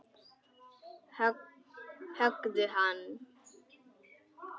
Höggðu hann!